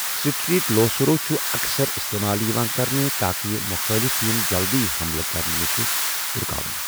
Straight لو سرو چھُ اَکثر استعمال یِوان کرنہٕ، تاکہِ یہِ مُخٲلف یِن جلدٕی حملہٕ کرنہٕ نِش رکاونہٕ۔